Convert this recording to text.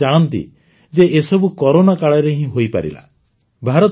ଆଉ ଆପଣମାନେ ଜାଣନ୍ତି ଯେ ଏସବୁ କରୋନା କାଳରେ ହିଁ ହୋଇପାରିଲା